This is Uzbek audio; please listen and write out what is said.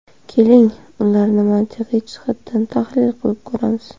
Keling ularni mantiqiy jihatdan tahlil qilib ko‘ramiz.